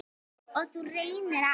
Og nú reynir á.